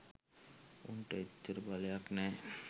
උන්ට එච්චර බලයක් නෑ.